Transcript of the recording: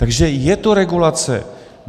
Takže je to regulace.